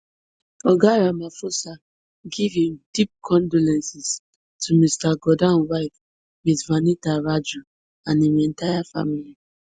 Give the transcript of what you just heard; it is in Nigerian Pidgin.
oga ramaphosa give im deep condolences to mr gordhan wife ms vanitha raju and im entire family